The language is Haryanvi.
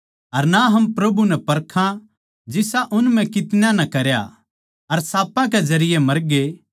अर ना हम प्रभु नै परखां जिसा उन म्ह कितन्याँ नै करया अर साँपां कै जरिये मरगे